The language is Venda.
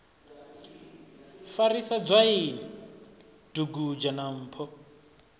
farisa dzwaini dugudzha na mpho